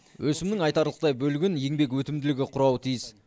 өсімнің айтарлықтай бөлігін еңбек өтімділігі құрауы тиіс